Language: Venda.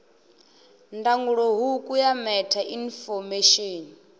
ndangulo hukhu ya meta infomesheni